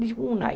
Disse, um aí.